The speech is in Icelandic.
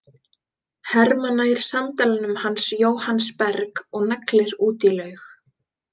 Hermann nær sandalanum hans Jóhanns Berg og neglir út í laug.